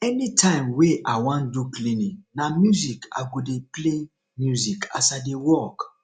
anytime wey i wan do cleaning na music i go dey play music as i dey work